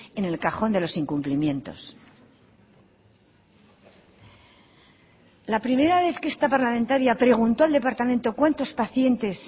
en el cajón de los incumplimientos la primera vez que esta parlamentaria preguntó al departamento cuantos pacientes